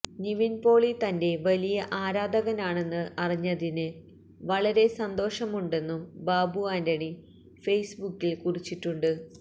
നിവിന് പോളി തന്റെ വലിയ ആരാധകനാണെന്ന് അറിഞ്ഞതില് വളരെ സന്തോഷം ഉണ്ടെന്നും ബാബു ആന്റണി ഫെയ്സ് ബുക്കില് കുറിച്ചിട്ടുണ്ട്